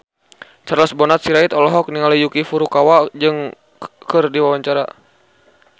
Charles Bonar Sirait olohok ningali Yuki Furukawa keur diwawancara